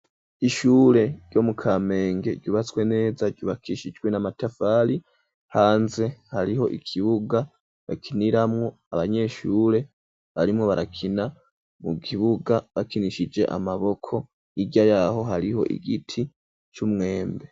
Ishure ryo mu kamenge ryubatswe neza ryubakishijwe n'amatafari hanze hariho ikibuga bakiniramwo abanyeshure barimo barakina mu kibuga bakinishije amaboko hirya yaho hariho igiti c'umwembe.